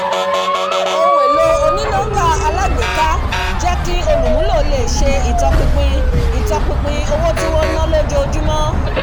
ohun èlò oní-nọ́mbà alágbèéká jẹ́ kí olùmúlò lè ṣe ìtọpinpin ìtọpinpin owó tí wọ́n ń ná lójoojúmọ̀ pẹ̀lú ìrọ̀rùn